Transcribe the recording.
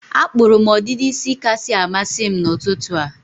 Akpụrụ m ọdịdị isi kasị amasị m n'ụtụtụ a.